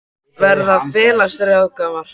Verða félagsráðgjafar?